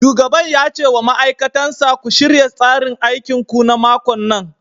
Shugaban ya ce wa ma'aikatan sa " ku shirya tsarin aikinku na makon nan!'